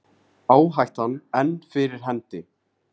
Áhættan enn fyrir hendi